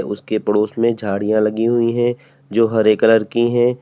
उसके पड़ोस में झाड़ियां लगी हुई है जो हरे कलर की है।